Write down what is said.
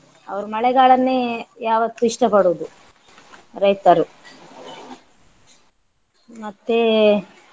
ಅವರು ಮಳೆಗಾಲನ್ನೇ ಯಾವತ್ತು ಇಷ್ಟ ಪಡುದು ರೈತರು ಮತ್ತೆ